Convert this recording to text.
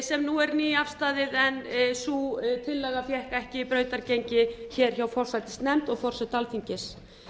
sem nú er nýafstaðið en sú tillaga fékk ekki brautargengi hjá forsætisnefnd og forseta alþingis